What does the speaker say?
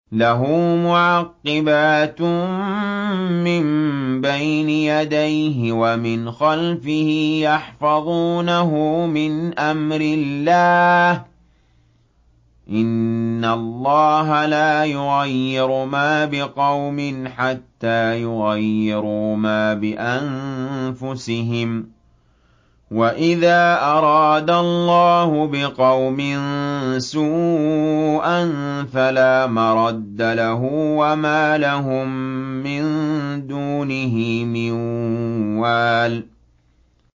لَهُ مُعَقِّبَاتٌ مِّن بَيْنِ يَدَيْهِ وَمِنْ خَلْفِهِ يَحْفَظُونَهُ مِنْ أَمْرِ اللَّهِ ۗ إِنَّ اللَّهَ لَا يُغَيِّرُ مَا بِقَوْمٍ حَتَّىٰ يُغَيِّرُوا مَا بِأَنفُسِهِمْ ۗ وَإِذَا أَرَادَ اللَّهُ بِقَوْمٍ سُوءًا فَلَا مَرَدَّ لَهُ ۚ وَمَا لَهُم مِّن دُونِهِ مِن وَالٍ